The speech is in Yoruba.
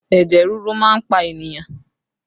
Ẹ̀jẹ̀ ríru máa ń pa ènìyàn